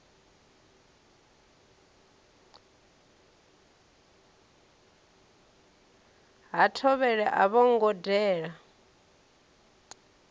ha thovhele a vhongo dela